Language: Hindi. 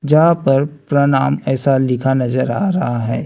यहां पर प्रणाम ऐसा लिखा नजर आ रहा है।